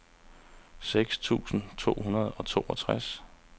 seks tusind to hundrede og toogtres